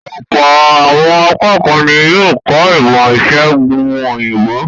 Ọ̀pọ̀ àwọn akẹ́kọ̀ọ́ ní yóò kọ̀ ọ́ ìmọ̀-ìṣẹ̀gùn òyìnbó.